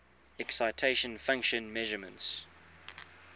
excitation function measurements